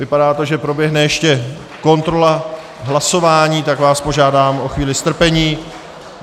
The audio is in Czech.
Vypadá to, že proběhne ještě kontrola hlasování, tak vás požádám o chvíli strpení.